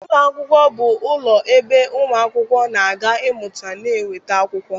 Ụlọ akwụkwọ bụ ụlọ ebe ụmụ akwụkwọ na-aga ịmụta na nweta akwụkwọ